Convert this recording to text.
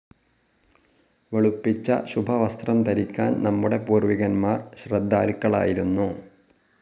വെളുപ്പിച്ച ശുഭവസ്‌ത്രം ധരിക്കാൻ നമ്മുടെ പൂർവികന്മാർ ശ്രദ്ധാലുക്കളായിരുന്നു.